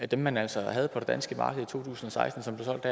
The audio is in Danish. dem man altså havde på det danske marked i to tusind og seksten som blev solgt